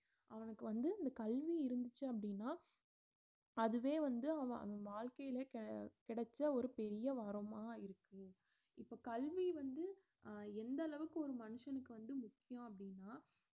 அவனுக்கு வந்து இந்த கல்வி இருந்துச்சு அப்படின்னா அதுவே வந்து அவன் அந்~ வாழ்க்கையிலே கி~ கிடைச்ச ஒரு பெரிய வரமா இருக்கு இப்ப கல்வி வந்து அஹ் எந்தளவுக்கு ஒரு மனுஷனுக்கு வந்து முக்கியம் அப்படின்னா